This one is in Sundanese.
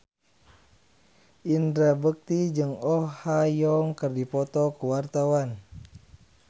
Indra Bekti jeung Oh Ha Young keur dipoto ku wartawan